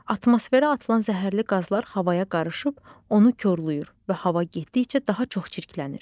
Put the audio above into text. Atmosferə atılan zəhərli qazlar havaya qarışıb onu korlayır və hava getdikcə daha çox çirklənir.